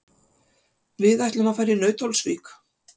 Við ætlum að fara í Nauthólsvík.